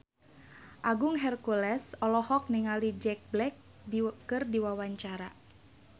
Agung Hercules olohok ningali Jack Black keur diwawancara